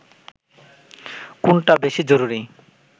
কোনটা বেশি জরুরি